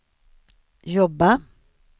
jobba